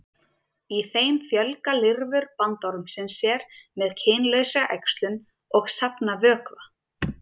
Í þeim fjölga lirfur bandormsins sér með kynlausri æxlun og safna vökva.